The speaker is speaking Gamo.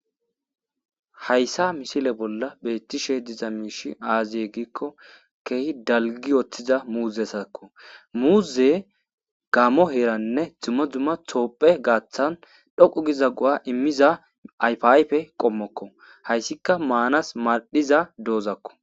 Hayssa misile bolla beettishe diza miishi aaziye gikko kehi dalgi oththiza muuze sakko muuze gammo heeranne dzumma dzumma thoophe gaaththan dhoqu giza gu7a immiza ayfayfe qommokko hayssika maanas madhiza doozakko